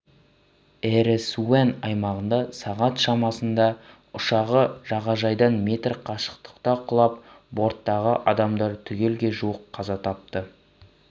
эресун аймағында сағат шамасында ұшағы жағажайдан метр қашықтықта құлап борттағы адамдар түгелге жуық қаза тапты